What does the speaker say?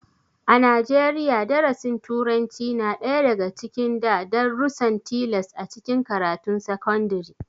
A Najeriya, darasin turanci na ɗaya daga cikin da darussan tilas a cikin karatun sakandare